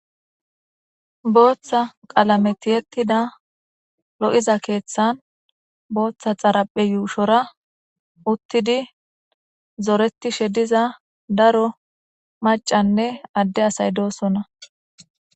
booththa qalametiyettida lo7iza keeththan booththa xaraphe yuushora uttidi zoretishe diza daro macanne adde asay doosona